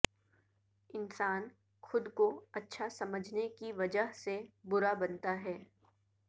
انسان خو د کو اچھا سمجھنے کی وجہ سے برا بنتا ہے